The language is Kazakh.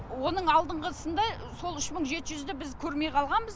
оның алдыңғысында сол үш мың жеті жүзді біз көрмей қалғанбыз